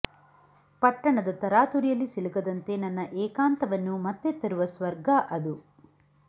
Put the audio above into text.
ಪಟ್ಟಣದ ತರಾತುರಿಯಲ್ಲಿ ಸಿಲುಕದಂತೆ ನನ್ನ ಏಕಾಂತವನ್ನು ಮತ್ತೆ ತರುವ ಸ್ವರ್ಗ ಅದು